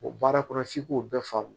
O baara kɔnɔ f'i k'o bɛɛ faamu